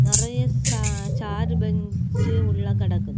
நெறய ச சாரு பெஞ்சு உள்ள கிடக்குது.